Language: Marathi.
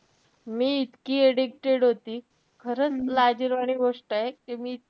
मी इतकी addicted होती. खरंच लाजिरवाणी गोष्टय कि मी,